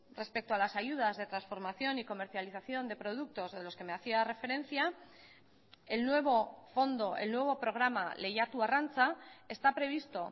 respecto a las ayudas de transformación y comercialización de productos de los que me hacía referencia el nuevo fondo el nuevo programa lehiatu arrantza está previsto